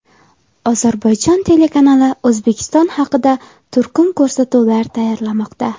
Ozarbayjon telekanali O‘zbekiston haqida turkum ko‘rsatuvlar tayyorlamoqda.